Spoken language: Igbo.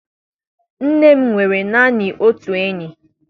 Nne m nwere naanị otu enyi.